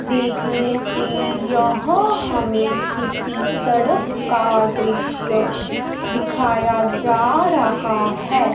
देखने से यहो हमें किसी सड़क का दृश्य दिखाया जा रहा है।